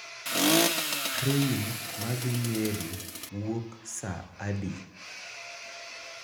Trein madhi Nyeri wuok saa adi?